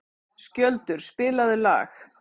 Skjöldur, spilaðu lag.